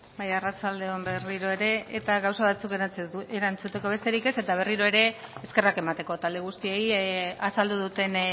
bai arratsalde on berriro ere eta gauza batzuk erantzuteko besterik ez eta berriro ere eskerrak emateko talde guztiei azaldu duten